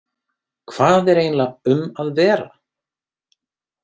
Hvað er eiginlega um að vera?